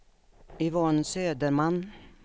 Yvonne Söderman